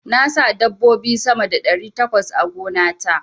Na sa dabbobi sama da ɗari takwas a gona ta.